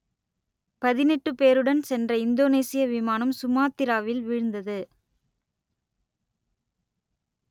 பதினெட்டு பேருடன் சென்ற இந்தோனேசிய விமானம் சுமாத்திராவில் வீழ்ந்தது